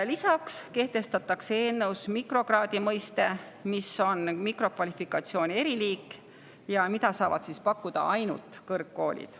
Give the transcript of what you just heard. Lisaks eelnõus mikrokraadi mõiste – see on mikrokvalifikatsiooni eriliik, mida saavad pakkuda ainult kõrgkoolid.